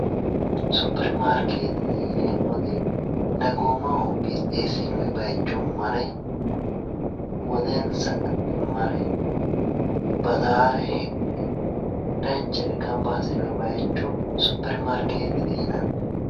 Supermarketete yineemmoti dagoomaho qixxeessinoyi baycho mare woxensa mare baxaare danchare gamba assinoyi baycho supermarketete yinanni